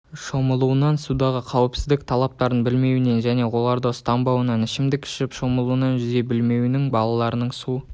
шомылуынан судағы қауіпсіздік талаптарын білмеуінен және оларды ұстанбауынан ішімдік ішіп шомылуынан жүзе білмеуінен балалардың су